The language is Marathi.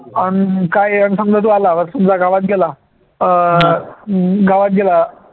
आणि काय समजा तू आला समजा गावात गेला अं गावात गेला.